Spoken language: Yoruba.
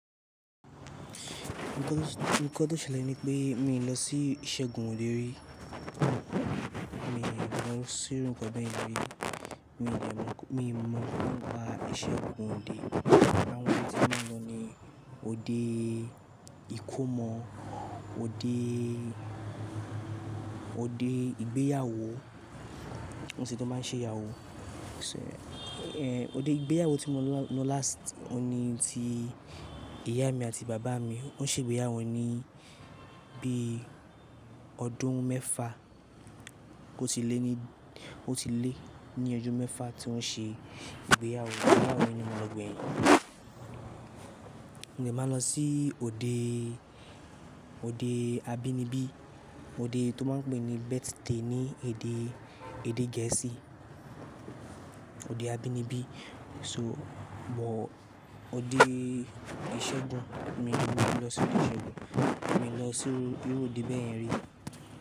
Nǹkan tó ṣẹlẹ̀ ni pé mi ò lọ sí ìṣẹ́gun òde rí, mi ò lọ sí irú nǹkan bẹ́ẹ̀ rí, mi ò mọ ń pa ìṣẹ́gun òde. Àwọn ibi tí mo máa ń lọ ni òde ìkómọ, òde, òde ìgbéyàwó, mọ̀si tun máa ń ṣe ìyàwó. Ṣé, ẹ́, òde ìgbéyàwó tí mo lọ ní last, òní tí ìyá mi àti bàbá mi wọ́n ṣe ìgbéyàwó ní bí ọdún mẹ́fa oò tilè ní, oò tilè ní ọjọ́ mẹ́fa tí wọ́n ṣe ìgbéyàwó. Ìgbéyàwó yìí ni mo lọ gbẹ̀ yin. Mo de máa lọ sí òde, òde abínibí, òde tó máa ń pè ní birthday ní èdè, èdè Gẹ̀ẹ́sì, òde abínibí. So bọ̀ òde ìṣẹ́gun, mi ò lọ sí òde ìṣẹ́gun, mi ò lọ sí irú òde bẹ́ẹ̀ rí.